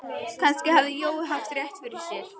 Kannski hafði Jói haft rétt fyrir sér.